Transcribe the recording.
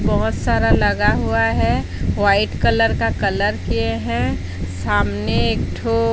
बहुत सारा लगा हुआ है। व्हाइट कलर का कलर किए हैं। सामने एक ठो--